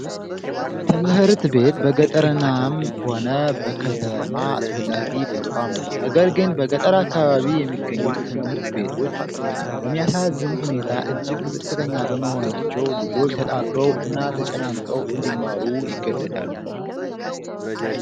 ትምህርት ቤት በገጠርናም ሆነ በከተማ አስፈላጊ ተቋም ነው። ነገር ግን በገጠር አካባቢ የሚገኙ ትምህርት ቤቶች በሚያሳዝን ሁኔታ እጅግ ዝቅተኛ በመሆናቸው ልጆች ተጣበው እና ተጨናንቀው እንዲማሩ ይገደዳሉ።